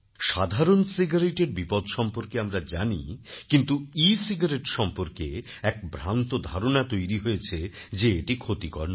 সাধারণcigaretteএর বিপদ সম্পর্কে আমরা জানি কিন্তু এসিগারেট সম্পর্কে এক ভ্রান্ত ধারণা তৈরি হয়েছে যে এটি ক্ষতিকর নয়